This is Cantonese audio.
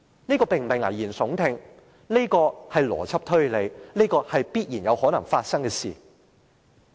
這並非危言聳聽，而是邏輯推理，是有可能會發生的事情。